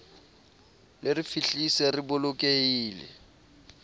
le re fihlise re bolokehile